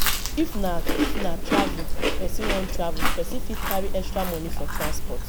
if na if na travel person wan travel person fit carry extra money for transport